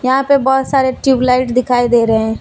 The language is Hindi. यहां पे बहुत सारे ट्यूबलाइट दिखाई दे रहे हैं।